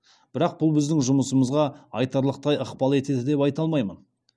бірақ бұл біздің жұмысымызға айтарлықтай ықпал етеді деп айта алмаймын